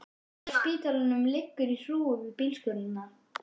Brakið af spítalanum liggur í hrúgu við bílskúrana.